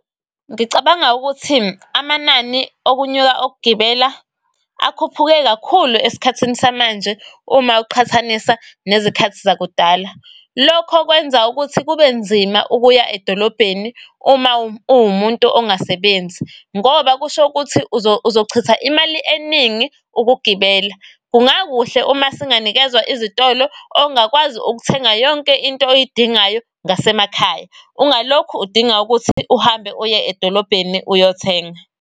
Ngicabanga ukuthi amanani okunyuka okugibela akhuphuke kakhulu es'khathini samanje uma uqhathanisa nezikhathi zakudala. Lokho kwenza ukuthi kube nzima ukuya edolobheni uma uwumuntu ongasebenzi ngoba kusho ukuthi uzochitha imali eningi ukugibela. Kungakuhle uma singanikezwa izitolo ongakwazi ukuthenga yonke into oyidingayo ngasemakhaya. Ungalokhu udinga ukuthi uhambe uye edolobheni uyothenga.